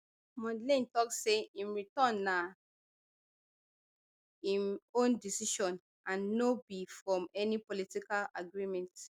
mondlane tok say im return na im own decision and no be from any political agreement